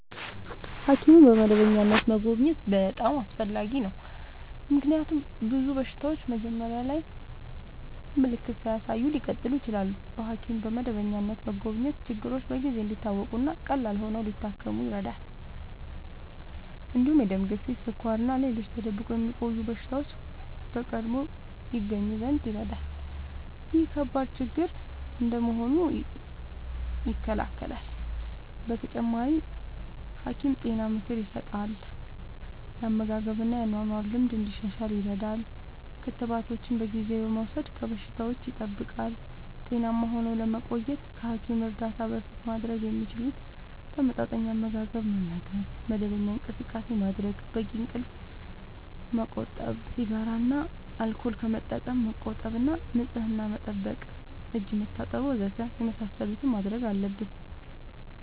ሐኪምን በመደበኛነት መጎብኘት በጣም አስፈላጊ ነው፤ ምክንያቱም ብዙ በሽታዎች መጀመሪያ ላይ ምልክት ሳያሳዩ ሊቀጥሉ ይችላሉ። በሐኪም በመደበኛነት መጎብኘት ችግሮች በጊዜ እንዲታወቁ እና ቀላል ሆነው ሊታከሙ ይረዳል። እንዲሁም የደም ግፊት፣ ስኳር እና ሌሎች ተደብቆ የሚቆዩ በሽታዎች በቀድሞ ይገኙ ዘንድ ይረዳል። ይህም ከባድ ችግር እንዳይሆኑ ይከላከላል። በተጨማሪ፣ ሐኪም ጤና ምክር ይሰጣል፣ የአመጋገብ እና የአኗኗር ልምድ እንዲሻሻል ይረዳል። ክትባቶችን በጊዜ በመውሰድ ከበሽታዎች ይጠብቃል። ጤናማ ሆነው ለመቆየት ከሐኪም እርዳታ በፊት ማድረግ የሚችሉት፦ ተመጣጣኝ አመጋገብ መመገብ፣ መደበኛ እንቅስቃሴ ማድረግ፣ በቂ እንቅልፍ ማመቆጠብ፣ ሲጋራ እና አልኮል ከመጠቀም መቆጠብ እና ንጽህና መጠበቅ (እጅ መታጠብ ወዘተ) የመሳሰሉትን ማድረግ አለብን።